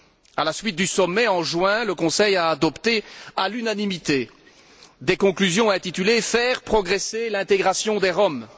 À la suite du sommet, en juin, le Conseil a adopté à l'unanimité des conclusions intitulées Faire progresser l'intégration des Roms.